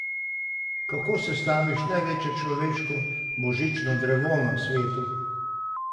Kako sestaviš največje človeško božično drevo na svetu?